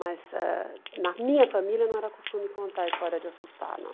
Mas ãh na minha família não era costume contar a história de assustar, não.